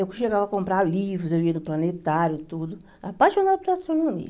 Eu chegava a comprar livros, eu ia no planetário, tudo, apaixonada por astronomia.